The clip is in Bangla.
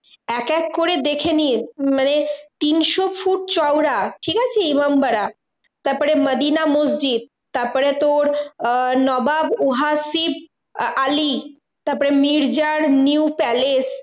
এক এক করে দেখে নিস্ মানে তিনশো ফুট চওড়া ঠিকাছে? ইমামবাড়া তারপরে মদিনা মসজিদ তারপরে তোর আহ নবাব উহাসিব আ~ আলী তারপর মির্জার new palace